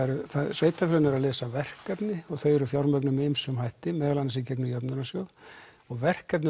sveitarfélögin eru að leysa verkefni og þau eru fjármögnuð með ýmsum hætti meðal annars í gegnum jöfnunarsjóð og verkefnin